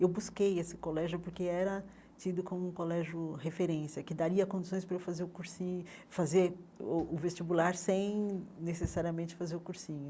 Eu busquei esse colégio porque era tido como colégio referência, que daria condições para eu fazer o cursinho fazer o o vestibular sem necessariamente fazer o cursinho.